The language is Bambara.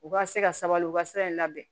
U ka se ka sabali u ka sira in labɛn